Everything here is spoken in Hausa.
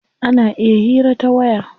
Ana iya hira ta waya.